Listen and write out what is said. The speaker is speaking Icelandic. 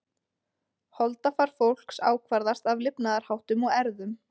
Holdafar fólks ákvarðast af lifnaðarháttum og erfðum.